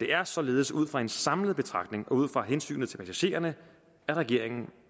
det er således ud fra en samlet betragtning og ud fra hensynet til passagererne at regeringen